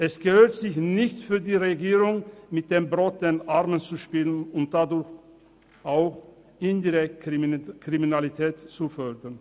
Es gehört sich nicht für die Regierung, mit dem Brot der Armen zu spielen und dadurch auch indirekt Kriminalität zu fördern.